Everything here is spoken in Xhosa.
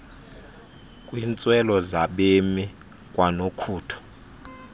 kwiintswelo zabemi kwanokuthu